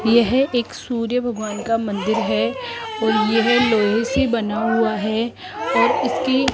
यह एक सूर्य भगवान का मंदिर है और यह लोहे से बना हुआ है और इसकी --